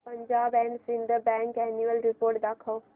Punjab and Sind Bank annual report दाखव